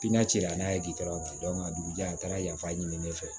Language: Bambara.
Pilatiri la n'a ye k'i taara dugudenw ka dugu janfa ɲini ne fɛ